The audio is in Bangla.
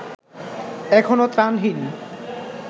এখনো ত্রাণহীন